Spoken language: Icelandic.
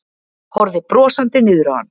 Horfði brosandi niður á hann.